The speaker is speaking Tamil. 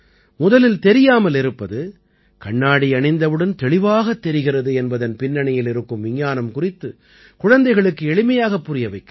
முதலில் தெரியாமல் இருப்பது கண்ணாடி அணிந்தவுடன் தெளிவாகத் தெரிகிறது என்பதன் பின்னணியில் இருக்கும் விஞ்ஞானம் குறித்து குழந்தைகளுக்கு எளிமையாகப் புரிய வைக்கலாம்